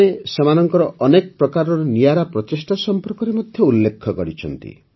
ସେମାନେ ସେମାନଙ୍କର ଅନେକ ପ୍ରକାର ନିଆରା ପ୍ରଚେଷ୍ଟା ସମ୍ପର୍କରେ ମଧ୍ୟ ଉଲ୍ଲେଖ କରିଛନ୍ତି